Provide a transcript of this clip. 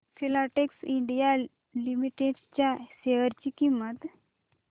Filatex India limited च्या share ची किंमत